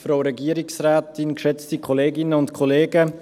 Für die glp Julien Stocker.